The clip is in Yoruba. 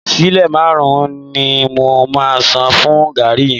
Sílè márùn-ún ni mo máa san fún gààrí yìí